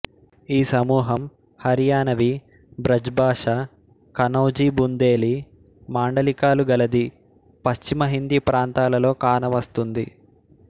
ఈ సమూహం హర్యానవీ బ్రజ్ భాష కనౌజీ బుందేలీ మాండలికాలు గలది పశ్చిమహిందీ ప్రాంతాలలో కానవస్తుంది